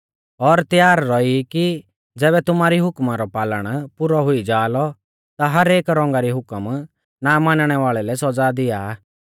और त्यार रौई ई कि ज़ैबै तुमारी हुकम रौ पालन पुरौ हुई जा लौ ता हर एक रौंगा री हुकम ना मानणै वाल़ै लै सौज़ा दिआ